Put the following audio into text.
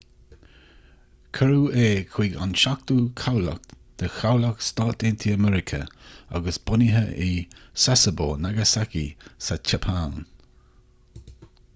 cuireadh é chuig an seachtú cabhlach de chabhlach s.a.m. agus bunaithe i sasebo nagasaki sa tseapáin